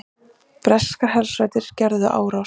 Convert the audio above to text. Breskar hersveitir gerðu árás